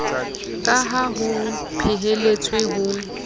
ka ha ho phehelletswe ho